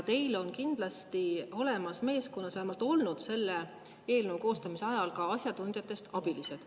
Teil kindlasti meeskonnas vähemalt selle eelnõu koostamise ajal olid asjatundjatest abilised.